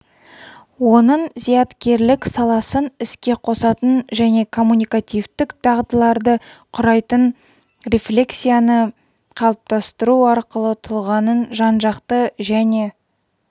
оның зияткерлік саласын іске қосатын және коммуникативтік дағдыларды құрайтын рефлексияны қалыптастыру арқылы тұлғаның жанжақты және